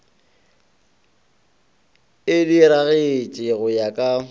e diragatše go ya ka